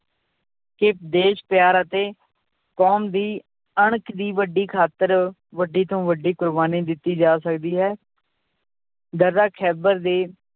ਕਿ ਦੇਸ ਪਿਆਰ ਅਤੇ ਕੌਮ ਦੀ ਅਣਖ ਦੀ ਵੱਡੀ ਖਾਤਰ ਵੱਡੀ ਤੋਂ ਵੱਡੀ ਕੁਰਬਾਨੀ ਦਿੱਤੀ ਜਾ ਸਕਦੀ ਹੈ ਖਹਿਬਰ ਦੇ